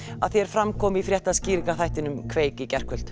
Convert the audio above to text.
að því er fram kom í fréttaskýringaþættinum